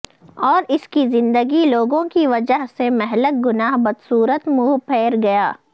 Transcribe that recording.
اور اس کی زندگی لوگوں کی وجہ سے مہلک گناہ بدسورت منہ پھیر گیا